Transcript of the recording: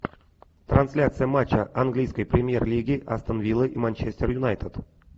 трансляция матча английской премьер лиги астон вилла и манчестер юнайтед